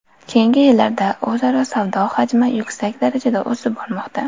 Keyingi yillarda o‘zaro savdo hajmi yuksak darajada o‘sib bormoqda.